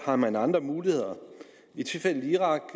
om man har andre muligheder i tilfældet irak